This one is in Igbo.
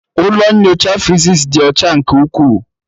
Ụlọ nyocha physics dị ọcha nke ukwuu